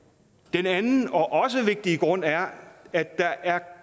den anden og også vigtige grund er at der er